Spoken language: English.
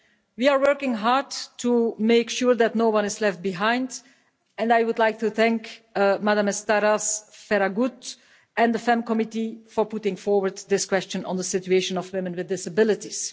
We are working hard to make sure that no one is left behind, and I would like to think Madam Estaràs Ferragut and the FEMM Committee for putting forward this question on the situation of women with disabilities.